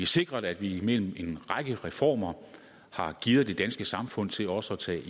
sikret at vi gennem en række reformer har gearet det danske samfund til også at tage